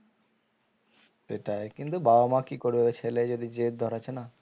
সেটাই কিন্তু বাবা মা কি করবে ছেলেই যদি জেদ ধরেছে না